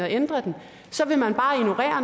at ændre den så vil man bare ignorere